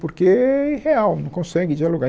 Porque é irreal, não consegue dialogar.